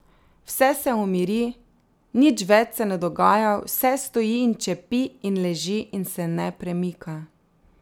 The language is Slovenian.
Vse se umiri, nič več se ne dogaja, vse stoji in čepi in leži in se ne premika.